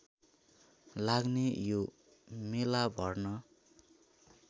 लाग्ने यो मेलाभर्न